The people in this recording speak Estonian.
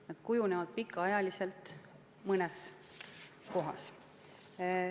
Nad kujunevad pika aja jooksul mõnes kohas.